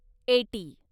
eighty